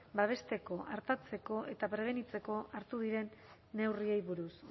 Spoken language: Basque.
babesteko artatzeko eta prebenitzeko hartu diren neurriei buruz